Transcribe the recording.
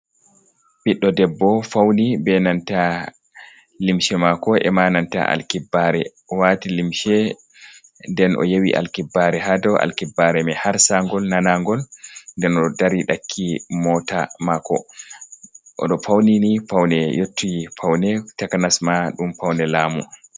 Ɓiɗɗo debbo fauni be nanta limshe mako ema nanta alkibbaare, o waati limshe, nden o yewi alkibbaare ha dou alkibbaare mai har sangol, nanangol. Nden o dari ɗakki mota maako. O ɗo fauni ni paune yottiɗi paune, takanas ma ɗum paune laamu.